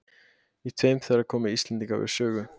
Í tveim þeirra komu íslendingar við sögu.